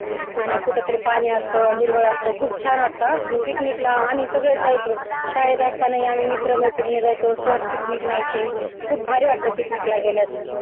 कुठंतरी पाणी असत त हिरवळ असत खूप छान वाटत आम्ही picnic ला सर्वच जायचो शाळेला अस्तास्तनी मित्रमैत्री जायचो सर पिकनिक न्यायचं खूप भारी वाटत पिकनिकला गेल्यास